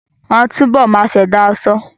Wọ́n á túbọ̀ máa ṣẹ̀dá aṣọ